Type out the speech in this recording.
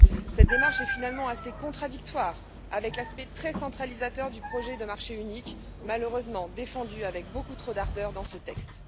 Cette démarche est finalement assez contradictoire avec l'aspect très centralisateur du projet de marché unique, malheureusement défendu avec beaucoup trop d'ardeur dans ce texte.